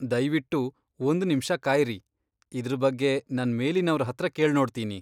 ದಯ್ವಿಟ್ಟು ಒಂದ್ ನಿಮ್ಷ ಕಾಯ್ರಿ. ಇದ್ರ್ ಬಗ್ಗೆ ನನ್ ಮೇಲಿನವ್ರ್ ಹತ್ರ ಕೇಳ್ನೋಡ್ತಿನಿ.